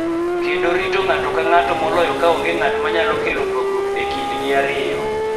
Kendo rito ng�ato ka ng�ato moloyo ka onge ng�at ma nyalo kelo pogruok e kindgi ariyo.